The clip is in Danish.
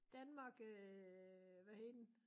Danmark øh hvad hed den